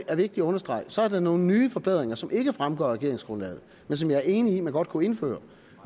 er vigtigt at understrege så er der nogle nye forbedringer som ikke fremgår af regeringsgrundlaget men som jeg er enig i man godt kunne indføre